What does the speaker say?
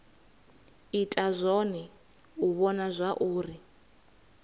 ita zwone u vhona zwauri